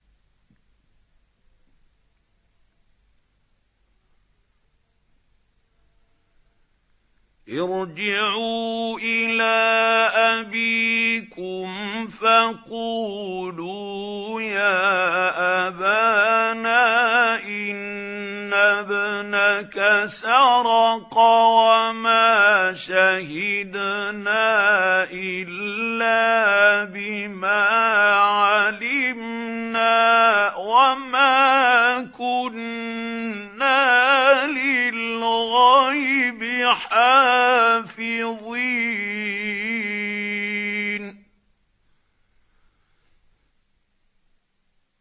ارْجِعُوا إِلَىٰ أَبِيكُمْ فَقُولُوا يَا أَبَانَا إِنَّ ابْنَكَ سَرَقَ وَمَا شَهِدْنَا إِلَّا بِمَا عَلِمْنَا وَمَا كُنَّا لِلْغَيْبِ حَافِظِينَ